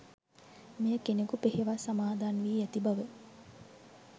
මෙය කෙනෙකු පෙහෙවස් සමාදන් වී ඇති බව